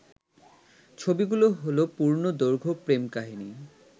ছবিগুলো হলো পূর্ণদৈর্ঘ্য প্রেম কাহিনী